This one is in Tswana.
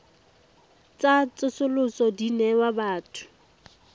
tsa tsosoloso di newa batho